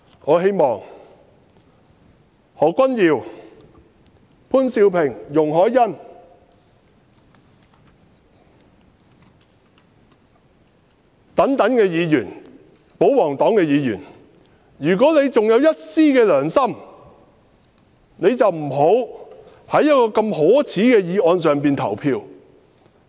我希望何君堯議員、潘兆平議員和容海恩議員此等保皇黨議員，如果還有一絲良心，便不要就一項如此可耻的議案投票。